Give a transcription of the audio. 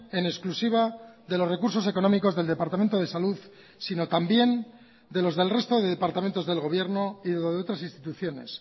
en exclusiva de los recursos económicos del departamento de salud sino también de los del resto de departamentos del gobierno y de otras instituciones